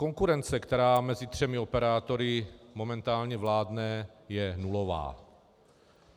Konkurence, která mezi třemi operátory momentálně vládne, je nulová.